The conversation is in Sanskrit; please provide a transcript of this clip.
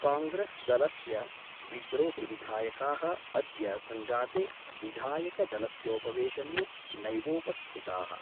कांग्रेसदलस्य विद्रोहिविधायका: अद्य संजाते विधायकदलस्योपवेशने नैवोपस्थिता:।